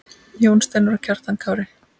Jón Steinar og Kjartan Kári.